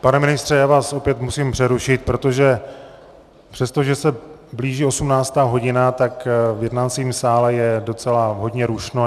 Pane ministře, já vás opět musím přerušit, protože přestože se blíží 18. hodina, tak v jednacím sále je docela hodně rušno.